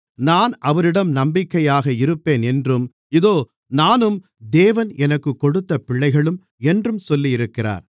நான் அவரிடம் நம்பிக்கையாக இருப்பேன் என்றும் இதோ நானும் தேவன் எனக்குக் கொடுத்த பிள்ளைகளும் என்றும் சொல்லியிருக்கிறார்